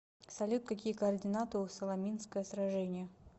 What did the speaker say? салют какие координаты у саламинское сражение